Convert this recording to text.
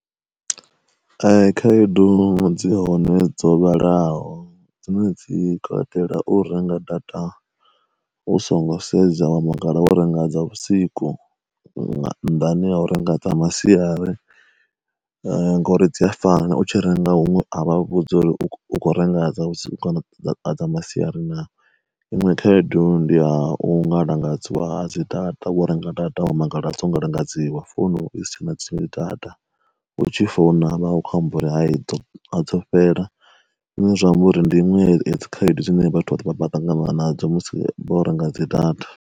Khaedo dzi hone dzo vhalaho dzine dzi katela u renga data u songo sedza wa mangala wo renga dza vhusiku nga nnḓani ya u renga dza masiari, ngori dzi a fana u tshi renga huṅwe a vha u vhudzi uri u khou renga dza dza dza masiari na. Iṅwe khaedu ndi ya u ngalangadzwa ha dzi data wo renga data wa mangala dzo ngalangadziwa founu i si tshena dzi data u tshi founa vha khou amba uri hai dzo fhela, zwine zwa amba uri ndi iṅwe ya dzi khaedu dzine vhathu vha ḓo vha vhaṱangana nadzo musi vho renga dzi data.